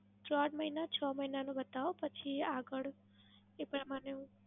ચાર મહિના, છ મહિનાનો બતાવો પછી એ આગળ એ પ્રમાણે